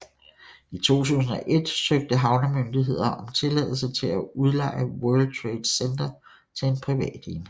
I 2001 søgte havnemyndigheden om tilladelse til at udleje World Trade Center til en privat enhed